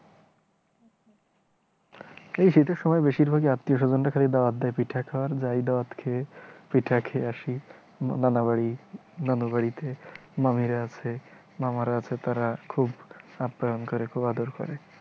এই শীতের সময় বেশির ভাগই আত্মীয় স্বজনরা খালি দাওয়াত দেয় পিঠা খাওয়ার। যাই দাত খেয়ে পিঠা খেয়ে আসি, নানাবাড়ি, নানাবাড়িতে মামিরা আছে, মামারা আছে তাঁরা খুব আপ্যায়ন করে, খুব আদর করে ।